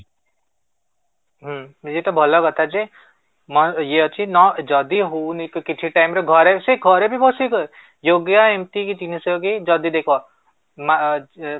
ହୁଁ ନିଜେ ତ ଭଲ କଥା ଯେ ଇଏ ଅଛି ନ ଯଦି ହଉନି ତ କିଛି time ରେ ଘରେ ସେ ଘରେ ବି ବସିକି yoga ଏମିତିକି ଜିନିଷ କି ଯଦି ଦେଖ